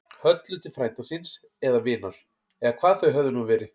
Höllu til frænda síns. eða vinar. eða hvað þau höfðu nú verið.